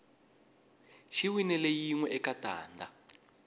xi winile yinwe eka tanda